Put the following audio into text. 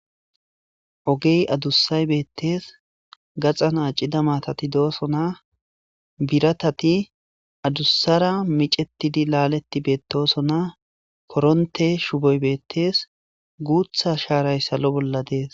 Ogey adussay beettees , gaxan accida maatati doosona, biratati adussara micetidi laaleti beettosona, koronte shuboy beettees guutha shaaray salo bolla dees.